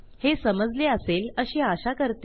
हे समजले असेल अशी आशा करते